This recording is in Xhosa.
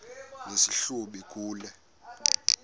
nesi hlubi kule